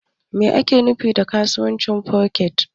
Me ake nufi da kasuwancin Foreks?